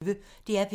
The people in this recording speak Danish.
DR P1